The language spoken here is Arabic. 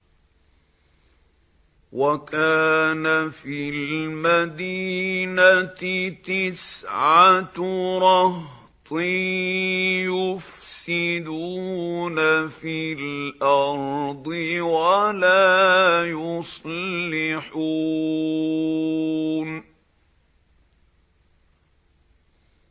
وَكَانَ فِي الْمَدِينَةِ تِسْعَةُ رَهْطٍ يُفْسِدُونَ فِي الْأَرْضِ وَلَا يُصْلِحُونَ